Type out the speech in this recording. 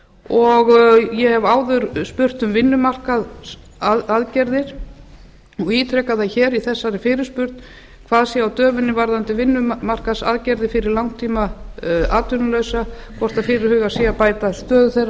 og ég hef áður spurt um vinnumarkaðsaðgerðir og ítreka það hér í þessari fyrirspurn hvað sé á döfinni varðandi vinnumarkaðsaðgerðir fyrir langtímaatvinnullausa hvort fyrirhugað sé að bæta stöðu þeirra